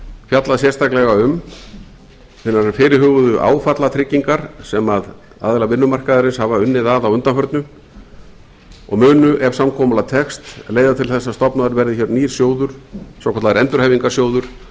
fjallað sérstaklega um hinar fyrirhuguðu áfallatryggingar sem aðilar vinnumarkaðarins hafa unnið að á undanförnu og munu ef samkomulag tekst leiða til þess að stofnaður verði nýr sjóður svokallaður endurhæfingarsjóður